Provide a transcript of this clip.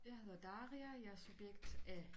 Jeg hedder Daria og jeg er subjekt A